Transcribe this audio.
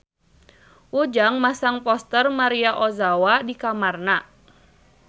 Ujang masang poster Maria Ozawa di kamarna